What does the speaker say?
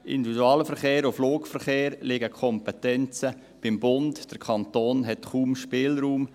Individualverkehr und Flugverkehr, hier liegen die Kompetenzen beim Bund, der Kanton hat kaum einen Spielraum.